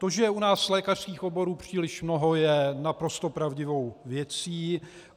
To, že je u nás lékařských oborů příliš mnoho, je naprosto pravdivou věcí.